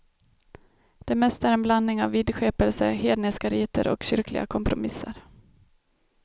Det mesta är ett blandning av vidskepelse, hedniska riter och kyrkliga kompromisser.